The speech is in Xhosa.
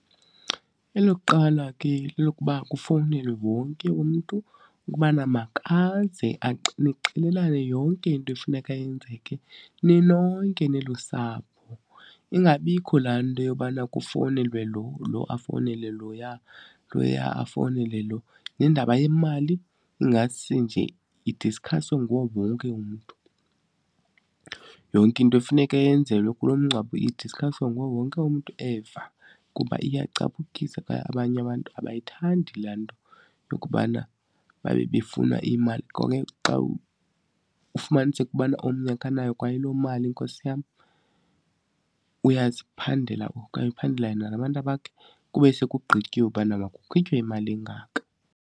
Elokuqala ke lokuba kufowunelwe wonke umntu ukubana makaze nixelelane yonke into efuneka yenzeke ninonke nilusapho, ingabikho laa nto yobana kufowunelwe lo, lo afowunele loya, loya afowunele lo. Nendaba yemali ingase nje idiskhaswe nguwo wonke umntu. Yonke into efuneka yenzelwe kulo mngcwabo idiskhaswe nguwo wonke umntu eva kuba iyacapukisa kwaye abanye abantu abayithandi laa nto yokubana babe befunwa iimali. Ngoku ke xa ufumaniseke ukubana omnye akanayo kwayiloo mali, nkosi yam. Uyaziphandela okanye uphandela yena nabantwana bakhe kube sekugqityiwe ubana makukhutshwe imali engaka.